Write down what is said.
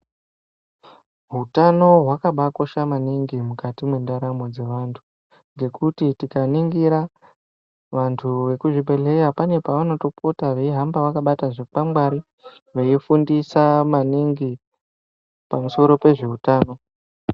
Hutano hwakaabakosha maningi mukati mwendaramo dzevanthu ngekuti tikaringira vanthu vekuzvibhedhleya pane pavanopota veihamba vakabata zvikwakwangwari veifundisa maningi pamusoro pezveutano.